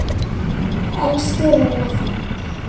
Elsku Rúna frænka.